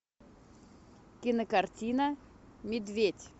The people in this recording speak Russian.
кинокартина медведь